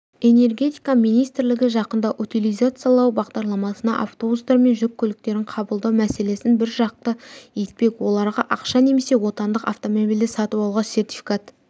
энергетика министрлігі жақында утилизациялау бағдарламасына автобустар мен жүк көліктерін қабылдау мәселесін біржақты етпек оларға ақша немесе отандық автомобильді сатып алуға сертификат